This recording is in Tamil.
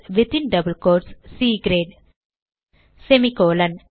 within double quotes C great semicolon